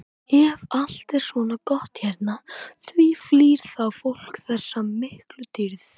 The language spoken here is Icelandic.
Ef allt er svona gott hérna, því flýr þá fólk þessa miklu dýrð?